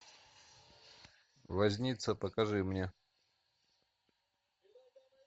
возница покажи мне